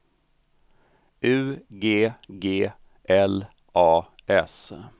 U G G L A S